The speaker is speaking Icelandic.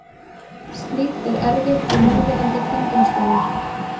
Slíkt er erfitt við núverandi kringumstæður.